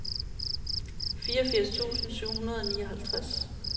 fireogfirs tusind syv hundrede og nioghalvtreds